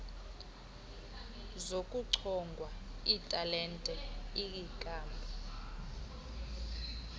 zokuchongwa kwetalente iinkampu